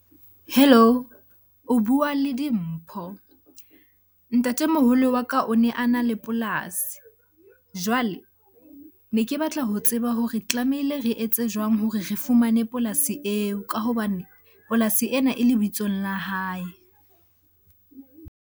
Hello? O bua le Dimpho. Ntatemoholo wa ka o ne a na le polasi jwale ne ke batla ho tseba hore tlamehile re etse jwang hore re fumane polasi eo? Ka hobane polasi ena e lebitsong la hae.